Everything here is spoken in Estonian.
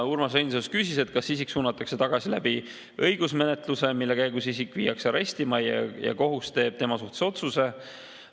Urmas Reinsalu küsis, kas isik suunatakse tagasi õigusmenetluse kaudu, mille käigus isik viiakse arestimajja ja kohus teeb tema kohta otsuse.